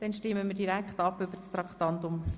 Also stimmen wir direkt über das Postulat ab.